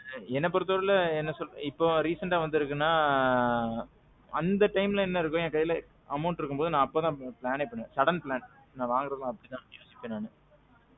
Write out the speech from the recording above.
என்ன பொறுத்தவரைக்கும், இப்போ recent அ வந்திருக்குனா அந்த timeல என்ன இருக்கோ என்கையில amount இருக்கும்போது அப்போதான் planஎ பண்ணுவேன், sudden plan. நான் வாங்குறதெல்லாம் அப்பிடித்தான் வாங்கியிருக்கேன் நானு.